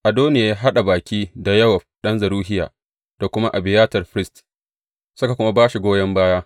Adoniya ya haɗa baƙi da Yowab ɗan Zeruhiya da kuma Abiyatar firist, suka kuma ba shi goyon baya.